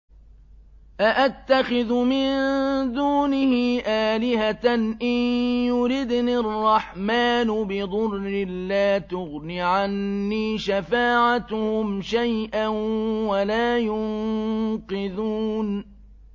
أَأَتَّخِذُ مِن دُونِهِ آلِهَةً إِن يُرِدْنِ الرَّحْمَٰنُ بِضُرٍّ لَّا تُغْنِ عَنِّي شَفَاعَتُهُمْ شَيْئًا وَلَا يُنقِذُونِ